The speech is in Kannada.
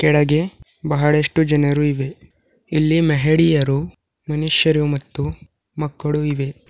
ಕೆಳಗೆ ಬಹಳಷ್ಟು ಜನರು ಇವೆ ಇಲ್ಲಿ ಮೆಹೆಡಿಯರು ಮನುಷ್ಯರು ಮತ್ತು ಮಕ್ಕಳು ಇವೆ.